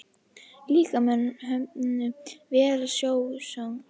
Líkaði honum vel sjósóknin.